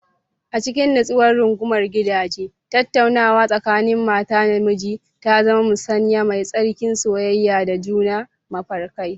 A cikin nutsuwar rungumar gidaje, tattaunawa tsakanin mata da miji ta zama musanya mai tsarki, soyayya da juna da mafarkai.